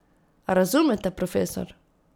A razumete, profesor?